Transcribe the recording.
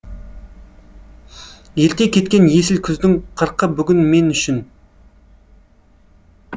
ерте кеткен есіл күздіңқырқы бүгін мен үшін